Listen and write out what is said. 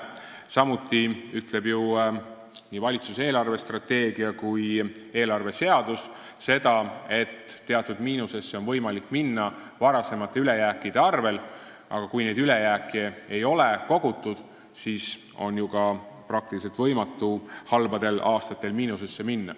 Samuti ütlevad nii valitsuse eelarvestrateegia kui ka riigieelarve seadus, et teatud miinusesse on võimalik minna varasemate ülejääkide arvel, aga kui neid ülejääke ei ole kogutud, siis on ju võimatu halbadel aastatel miinusesse minna.